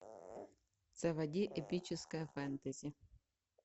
заводи эпическое фэнтези